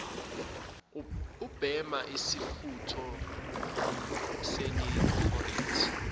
ubhema isifutho senicorette